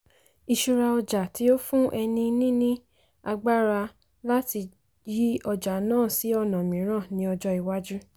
ìṣúra ọjà tí ó fún ẹni níní agbára láti yí ọjà náà sí ọ̀nà mìíràn ní ọjọ́ ìwájú.